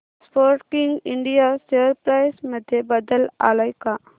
Sportking India share price मध्ये बदल आलाय का